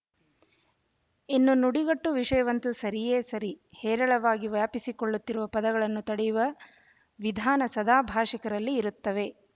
ಇನ್ನು ನುಡಿಗಟ್ಟು ವಿಷಯವಂತೂ ಸರಿಯೇ ಸರಿ ಹೇರಳವಾಗಿ ವ್ಯಾಪಿಸಿಕೊಳ್ಳುತ್ತಿರುವ ಪದಗಳನ್ನು ತಡೆಯುವ ವಿಧಾನ ಸದಾ ಭಾಷಿ ಕರಲ್ಲಿ ಇರುತ್ತವೆ